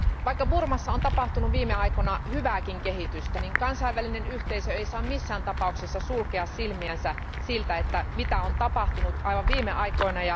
Vaikka Burmassa on tapahtunut viime aikoina hyvääkin kehitystä, kansainvälinen yhteisö ei saa missään tapauksessa sulkea silmiänsä siltä, mitä on tapahtunut aivan viime aikoina.